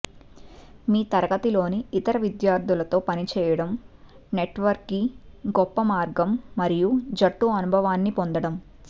మీ తరగతిలోని ఇతర విద్యార్థులతో పనిచేయడం నెట్వర్క్కి గొప్ప మార్గం మరియు జట్టు అనుభవాన్ని పొందడం